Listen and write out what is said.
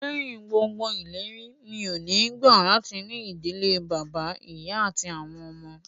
Lẹ́yìn gbogbo ìlérí, mi ò ní gbà latí ní ìdílé bàbá, ìyá àti àwọn ọmọ